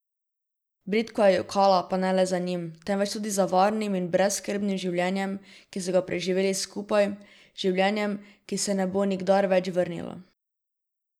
Bridko je jokala, pa ne le za njim, temveč tudi za varnim in brezskrbnim življenjem, ki so ga preživeli skupaj, življenjem, ki se ne bo nikdar več vrnilo.